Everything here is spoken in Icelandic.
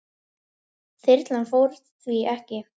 Þyrlan fór því ekki.